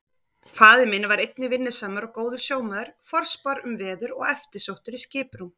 Faðir minn var einnig vinnusamur og góður sjómaður, forspár um veður og eftirsóttur í skiprúm.